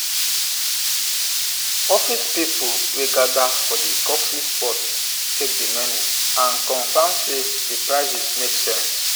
office people wey gather for the coffee spot check the menu and confirm say the prices make sense.